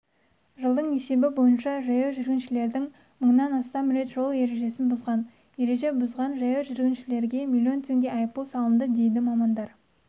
жылдың есебі бойынша жаяу жүргіншілердің мыңнан астам рет жол ережесін бұзған ереже бұзған жаяу жүргіншілерге миллион теңге айыппұл салынды дейді мамандар